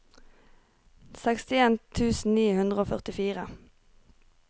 sekstien tusen ni hundre og førtifire